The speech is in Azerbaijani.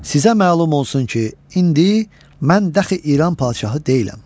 Sizə məlum olsun ki, indi mən dəxi İran padşahı deyiləm.